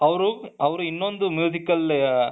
ಅವರು ಅವರು ಇನ್ನೊಂದು al